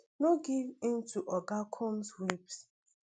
no give in to oga combs whims